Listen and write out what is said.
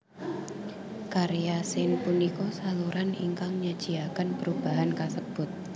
Karya Sin punika saluran ingkang nyajiaken perubahan kasebut